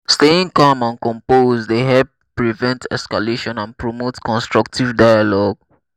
staying calm and composed dey help prevent escalation and promote constructive dialogue.